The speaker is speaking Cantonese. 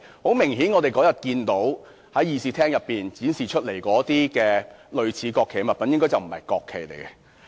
很明顯，我們那天看到在議事廳展示的那些類似國旗的物品，應該不是國旗。